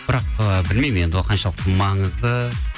бірақ ыыы білмеймін енді ол қаншалықты маңызды